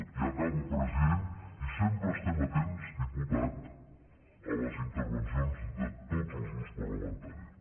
i acabo president i sempre estem atents diputat a les intervencions de tots els grups parlamentaris